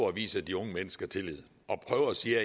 at vise de unge mennesker tillid og sige